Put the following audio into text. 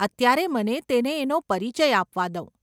અત્યારે મને તેને એનો પરિચય આપવા દઉં.